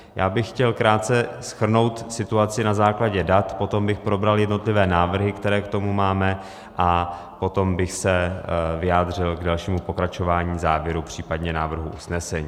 Já bych chtěl krátce shrnout situaci na základě dat, potom bych probral jednotlivé návrhy, které k tomu máme, a potom bych se vyjádřil k dalšímu pokračování, závěru, případně návrhu usnesení.